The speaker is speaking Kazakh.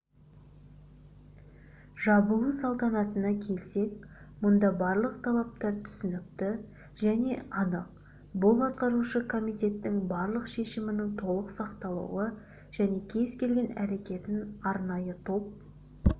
жабылу салтанатына келсек мұнда барлық талаптар түсінікті және анық бұл атқарушы комитеттің барлық шешімінің толық сақталуы және кез-келген әрекетін арнайы топ